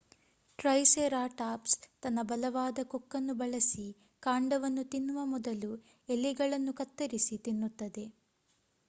triceratops ತನ್ನ ಬಲವಾದ ಕೊಕ್ಕನ್ನು ಬಳಸಿ ಕಾಂಡವನ್ನು ತಿನ್ನುವ ಮೊದಲು ಎಲೆಗಳನ್ನು ಕತ್ತರಿಸಿ ತಿನ್ನುತ್ತದೆ